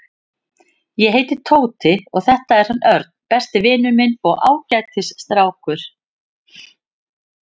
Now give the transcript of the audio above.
Ég heiti Tóti og þetta er hann Örn, besti vinur minn og ágætis strákur.